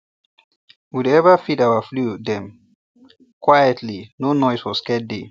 we dey ever feed our flew dem quietly no noise for scared day